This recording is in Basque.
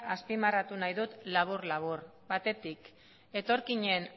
azpimarratu nahi dut labur labur batetik etorkinen